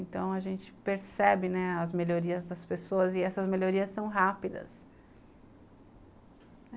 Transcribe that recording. Então, a gente percebe, né, as melhorias das pessoas e essas melhorias são rápidas.